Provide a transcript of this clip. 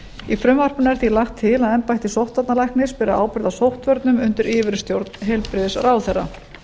í frumvarpinu er því lagt til að embætti sóttvarnalæknis beri ábyrgð á sóttvörnum undir yfirstjórn heilbrigðisráðherra